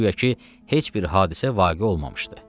Guya ki, heç bir hadisə vaqe olmamışdı.